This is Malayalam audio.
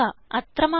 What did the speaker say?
അത്ര മാത്രം